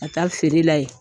Ka taa feerela yen .